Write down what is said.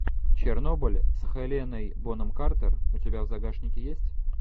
чернобыль с хеленой бонем картер у тебя в загашнике есть